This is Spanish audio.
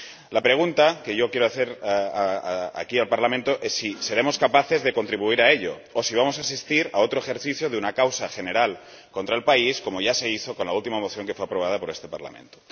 La pregunta que yo quiero hacer aquí al Parlamento es si seremos capaces de contribuir a ello o si vamos a asistir a otro ejercicio de una causa general contra el país como ya se hizo con la última moción que fue aprobada por este Parlamento.